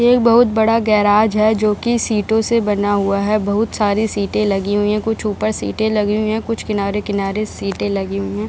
एक बहुत बड़ा गैरेज है जो की सीटों से बना हुआ है बहूत सारी सीटें लगी हुई हैं कूछ ऊपर सीटें लगी हुई हैं कूछ किनारे-किनारे सीटें लगी हुई हैं।